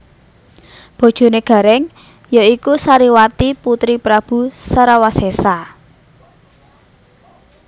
Bojoné Garèng ya iku Sariwati putri Prabu Sarawasésa